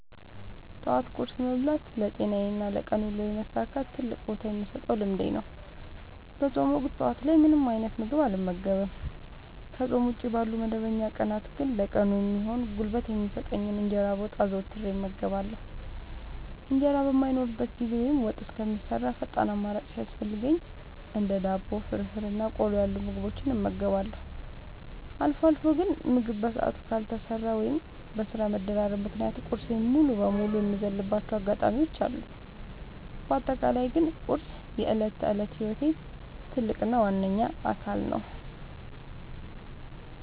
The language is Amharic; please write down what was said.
ጠዋት ቁርስ መብላት ለጤናዬና ለቀን ውሎዬ መሳካት ትልቅ ቦታ የምሰጠው ልምዴ ነው። በፆም ወቅት ጠዋት ላይ ምንም አይነት ምግብ አልመገብም። ከፆም ውጪ ባሉ መደበኛ ቀናት ግን ለቀኑ የሚሆን ጉልበት የሚሰጠኝን እንጀራ በወጥ አዘውትሬ እመገባለሁ። እንጀራ በማይኖርበት ጊዜ ወይም ወጥ እስከሚሰራ ፈጣን አማራጭ ሲያስፈልገኝ እንደ ዳቦ፣ ፍርፍር እና ቆሎ ያሉ ምግቦችን እመገባለሁ። አልፎ አልፎ ግን ምግብ በሰዓቱ ካልተሰራ ወይም በስራ መደራረብ ምክንያት ቁርሴን ሙሉ በሙሉ የምዘልባቸው አጋጣሚዎች አሉ። በአጠቃላይ ግን ቁርስ የዕለት ተዕለት ህይወቴ ትልቅ እና ዋነኛ አካል ነው።